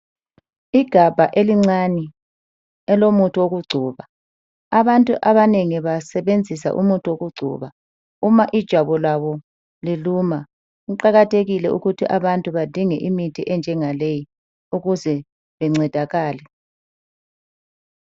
Igabha elincane elomuthi wokugcoba. Abantu abanengi basebenzisa umuthi wokugcoba uma ijwabu labo liluma. Kuqakathekile ukuthi abantu badinge imithi enjengaleyi ukuze bencedakale.